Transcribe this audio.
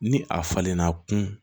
Ni a falenna a kun